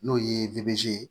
N'o ye ye